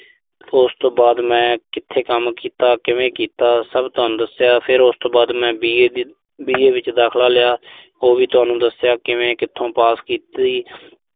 ਤੇ ਉਸ ਤੋਂ ਬਾਅਦ ਮੈਂ ਕਿਥੇ ਕੰਮ ਕੀਤਾ। ਕਿਵੇਂ ਕੀਤਾ, ਸਭ ਤੁਹਾਨੂੰ ਦੱਸਿਆ। ਫਿਰ ਉਸ ਤੋਂ ਬਾਅਦ ਮੈਂ B. A ਦੀ B. A ਵਿੱਚ ਦਾਖਲਾ ਲਿਆ। ਉਹ ਵੀ ਤੁਹਾਨੂੰ ਦੱਸਿਆ ਕਿਵੇਂ, ਕਿੱਥੋਂ ਪਾਸ ਕੀਤੀ।